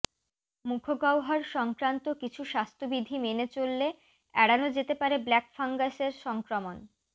মুখগহ্বর সংক্রান্ত কিছু স্বাস্থ্যবিধি মেনে চললে এড়ানো যেতে পারে ব্ল্যাক ফ্যাঙ্গাসের সংক্রমণ